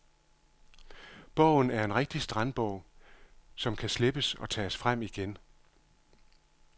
Bogen er en rigtig strandbog, som kan slippes og tages frem igen.